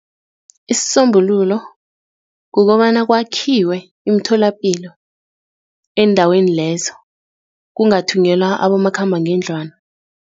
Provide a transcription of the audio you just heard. Isisombululo kukobana kwakhiwe imtholapilo eendaweni lezo, kungathunyelwa abomakhambangeendlwana.